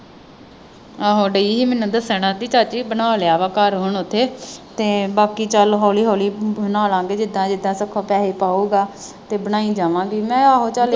ਆਹੋ ਡਈ ਸੀ ਮੈਨੂੰ ਦੱਸਣ ਕਹਿੰਦੀ ਚਾਚੀ ਬਣਾ ਲਿਆ ਵਾ ਘਰ ਹੁਣ ਓਥੇ। ਤੇ ਬਾਕੀ ਚੱਲ ਹੌਲੀ ਹੌਲੀ ਬਣਾ ਲਵਾਂਗੇ ਜਿਦਾਂ ਜਿਦਾਂ ਸੁੱਖਾ ਪੈਸੇ ਪਾਊਗਾ। ਤੇ ਬਣਾਈ ਜਾਵਾਂਗੇ ਮੈਂ ਕਿਹਾ ਆਹੋ ਚੱਲ।